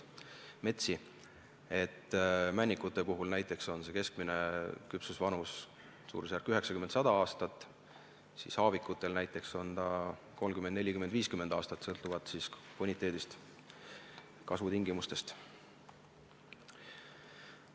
Näiteks männikute puhul on keskmine küpsusvanus 90–100 aastat, haavikutel aga näiteks 30, 40 või 50 aastat – sõltuvalt boniteedist, kasvutingimustest.